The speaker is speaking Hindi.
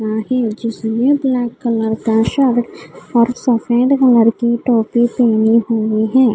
जिसने ब्लैक कलर का शर्ट और सफ़ेद कलर की टोपी पहनी हुई है।